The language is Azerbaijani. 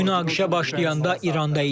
Münaqişə başlayanda İranda idim.